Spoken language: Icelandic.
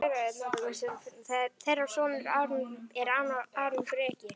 Þeirra sonur er Aron Breki.